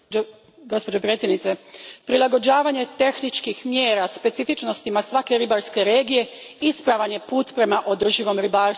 Gospođo predsjednice, prilagođavanje tehničkih mjera specifičnostima svake ribarske regije ispravan je put prema održivom ribarstvu.